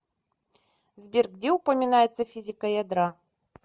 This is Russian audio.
сбер где упоминается физика ядра